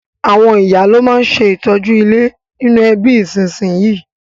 Àwon ìyá lo ma n se ìtọ́jú ilé nínú ẹbí ìsínsinyì